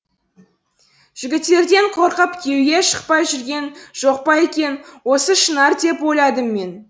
жігіттерден қорқып күйеуге шықпай жүрген жоқ па екен осы шынар деп ойладым мен